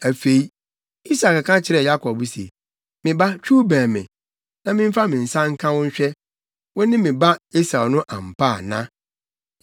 Afei, Isak ka kyerɛɛ Yakob se, “Me ba, twiw bɛn me, na memfa me nsa nka wo nhwɛ sɛ, wo ne me ba Esau no ampa ana.”